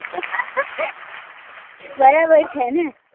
બરાબર છે ને